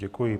Děkuji.